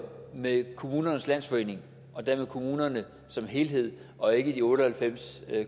med kommunernes landsforening og dermed kommunerne som helhed og ikke de otte og halvfems